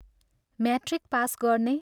Matric pass गर्ने?